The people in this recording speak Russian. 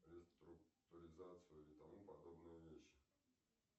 реструктуризацию и тому подобные вещи